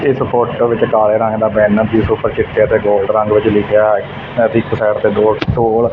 ਇਸ ਫੋਟੋ ਵਿੱਚ ਕਾਲੇ ਰੰਗ ਦਾ ਪੈਨ ਜਿਸ ਊਪਰ ਚਿੱਟੇ ਤੇ ਗੋਲਡ ਰੰਗ ਵਿੱਚ ਲਿਖਿਆ ਹੈ ਇੱਕ ਸਾਈਡ ਤੇ ਦੋ ਟੋਲ ।